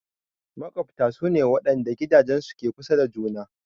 Maƙwabta su ne waɗanda gidajensu ke kusa da juna.